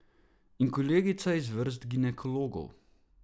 In kolegica iz vrst ginekologov ...